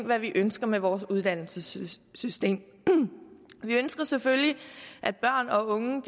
hvad vi ønsker med vores uddannelsessystem vi ønsker selvfølgelig at børn og unge